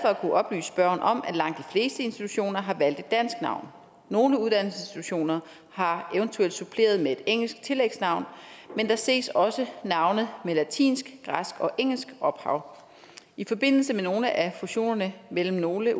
at kunne oplyse spørgeren om at langt de institutioner har valgt et dansk navn nogle uddannelsesinstitutioner har eventuelt suppleret med et engelsk tillægsnavn men der ses også navne med latinsk græsk og engelsk ophav i forbindelse med nogle af fusionerne mellem nogle